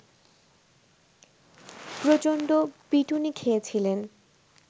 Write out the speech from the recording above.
প্রচন্ড পিটুনি খেয়েছিলেন